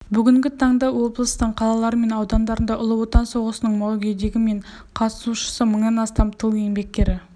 бүгінгі таңда облыстың қалалары мен аудандарында ұлы отан соғысының мүгедегі мен қатысушысы мыңнан астам тыл еңбеккері